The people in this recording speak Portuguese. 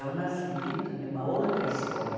É o nascimento de uma outra escola.